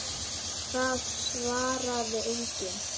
Það svaraði enginn.